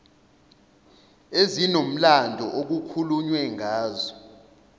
ezinomlando okukhulunywe ngazo